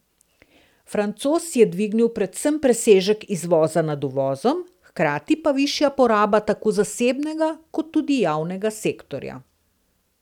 Francoze je dvignil predvsem presežek izvoza nad uvozom, hkrati pa višja poraba tako zasebnega kot tudi javnega sektorja.